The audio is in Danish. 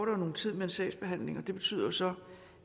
jo nogen tid med en sagsbehandling og det betyder så